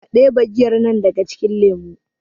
a debe giyar nan daga cikin lemo!